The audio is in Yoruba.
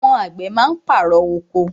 Àwọn àgbẹ̀ má ń pàrọ̀ oko.